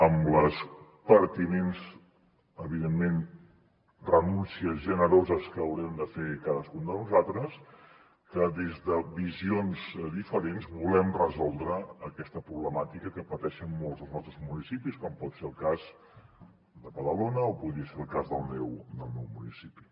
amb les pertinents evidentment renúncies generoses que haurem de fer cadascun de nosaltres que des de visions diferents volem resoldre aquesta problemàtica que pateixen molts dels nostres municipis com pot ser el cas de badalona o podria ser el cas del meu municipi